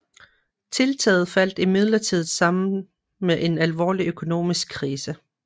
Tiltaget faldt imidlertid sammen med en alvorlig økonomisk krise